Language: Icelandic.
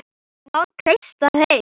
Má treysta þeim?